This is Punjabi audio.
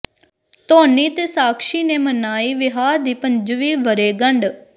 ਧੋਨੀ ਤੇ ਸਾਕਸ਼ੀ ਨੇ ਮਨਾਈ ਵਿਆਹ ਦੀ ਪੰਜਵੀਂ ਵਰ੍ਹੇਗੰਢ